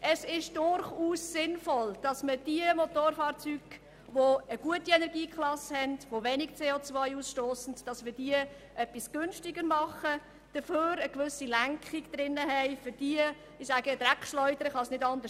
Es ist durchaus sinnvoll, Motorfahrzeuge mit einer guten Energieklasse, die wenig CO ausstossen, etwas günstiger zu machen und dafür eine gewisse Lenkung für die Dreckschleudern zu haben.